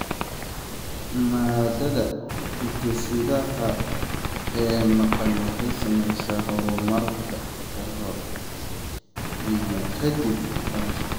Maaddada hidde-sidaha ee maqan waxay saamaysaa horumarka ka hor iyo ka dib dhalashada.